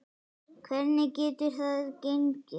Hvernig getur það gengi?